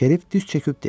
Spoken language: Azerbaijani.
Şerif diz çöküb dedi.